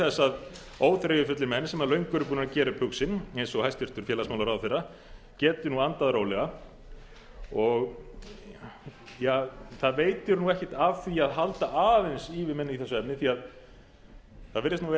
þess að óþreyjufullir menn sem löngu eru búnir að gera upp hug sinn eins og hæstvirtur félagsmálaráðherra geti nú andað rólega það veitir ekkert af því að halda aðeins í við menn í þessu efni